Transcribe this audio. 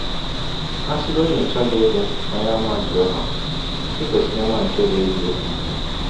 A sịgọdị na ị chọghị ịbụ Ọnyeàmà Jehọva, i kwesịrị ịma nke bụ́ eziọkwụ.